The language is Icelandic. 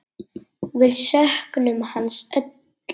Við söknum hans öll.